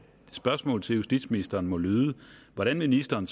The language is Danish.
spørgsmålet til justitsministeren må lyde hvordan vil ministeren